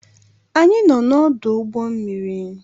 Anyị nọ n'ọdụ ụgbọ mmiri